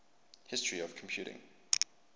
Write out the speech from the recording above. history of computing